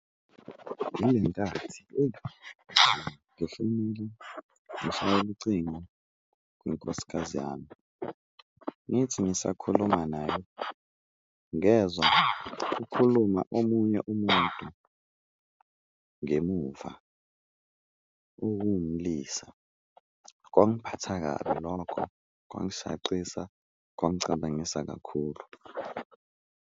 Yile nkathi ngishayele ucingo kunkosikazi yami, ngithi ngisakhuluma naye ngezwa kukhuluma omunye umuntu ngemuva okuwumlisa, kwangiphatha kabi lokho, kwangishaqisa, kwangicabangisa kakhulu.